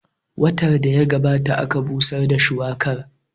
Watan da ya gabata aka busar da shuwakar